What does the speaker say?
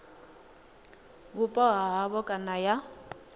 vhupo ha havho kana ya